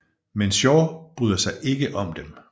Men Shaw bryder sig ikke om dem